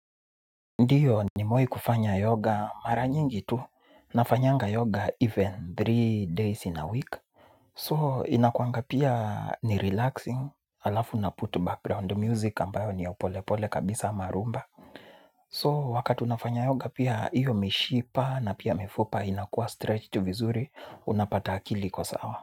Ndiyo nimewai kufanya yoga mara nyingi tu na fanyanga yoga even three days in a week. So inakuanga pia ni relaxing alafu na put background music ambayo ni yaupolepole kabisa ama rumba. So wakati unafanya yoga pia iyo mishipa na pia mifupa inakuwa stretched tu vizuri unapata akili iko sawa.